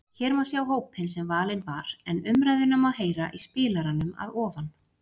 Hér má sjá hópinn sem valinn var en umræðuna má heyra í spilaranum að ofan.